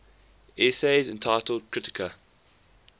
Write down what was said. essays entitled kritika